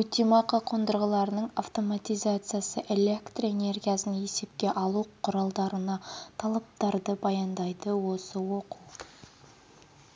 өтемақы қондырғыларының автоматизациясы электроэнергиясын есепке алу құралдарына талаптарды баяндайды осы оқу